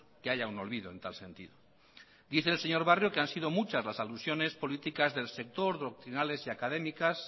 que haya un olvido en tal sentido dice el señor barrio que han sido muchas las alusiones políticas del sector doctrinales y académicas